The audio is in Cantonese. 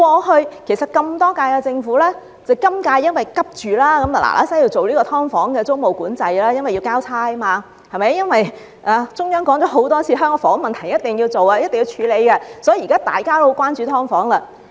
其實，在歷屆政府中，只有今屆政府急於趕快訂立"劏房"租務管制，原因是要"交差"，因為中央政府多次提到香港房屋問題必須處理，所以現在大家都十分關注"劏房"。